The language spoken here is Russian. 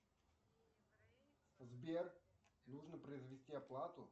сбер нужно произвести оплату